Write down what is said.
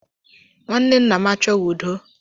Nwanne nna m achọghị udo